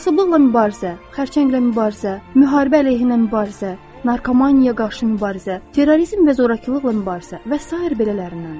Kasıblıqla mübarizə, xərçənglə mübarizə, müharibə əleyhinə mübarizə, narkomaniyaya qarşı mübarizə, terrorizm və zorakılıqla mübarizə və sair belələrindəndir.